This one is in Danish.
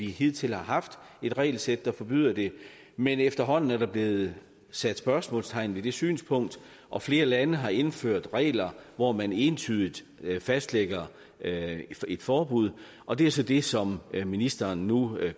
hidtil har haft et regelsæt der forbyder det men efterhånden er der blevet sat spørgsmålstegn ved det synspunkt og flere lande har indført regler hvor man entydigt fastlægger et forbud og det er så det som ministeren nu